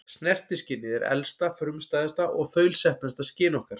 Snertiskynið er elsta, frumstæðasta og þaulsetnasta skyn okkar.